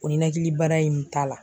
O ninakilibana in t'a la.